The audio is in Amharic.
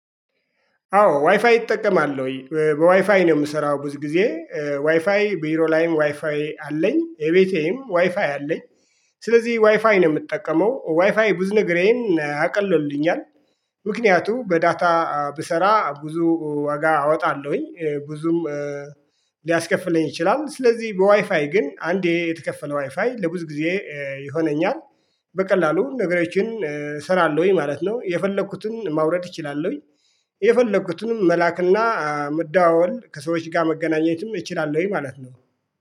አዎ ዋይፋይ እጠቀማለው በዋይፋይ ነው የምሰራው ብዙ ጊዜ ዋይፋይ ቢሮ ላይም ዋይፋይ አለኝ እቤቴም ዋይፋይ አለኝ። ስለዚህ ዋይፋይ ነው የምጠቀመው ዋይፋይ ብዙ ነገሬን አቅሎልኛል። ምክንያቱም በዳታ ብሰራ ብዙ ዋጋ አወጣለሁኝ ብዙም ሊያስከፍለኝ ይችላል። ስለዚህ በዋይፋይ ግን አንዴ የተከፈለ ዋይፋይ ለብዙ ጊዜ ይሆነኛል። በቀላሉ ነገሮችን እሰራለሁኝ ማለት ነው የፈለኩትን ማውረድ እችላለሁኝ የፈለኩትንም መላክና መደዋወል ከሰዎች ጋር መገናኘትም እችላለሁኝ ማለት ነው